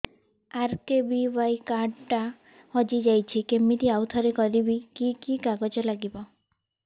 RKBY card ଟା ହଜିଯାଇଛି କିମିତି ଆଉଥରେ କରିବି କି କି କାଗଜ ଲାଗିବ